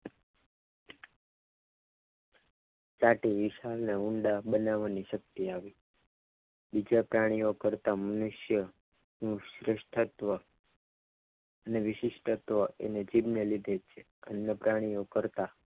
ચાટીને નિશાન ઉંડા બનાવવાની શક્તિ આપી છે બીજા પ્રાણીઓ કરતાં મનુષ્ય નું શ્રેષ્ઠ તત્ અને વિશિષ્ટ તત્વ એની જીભને લીધે બીજા પ્રાણીઓ કરતાં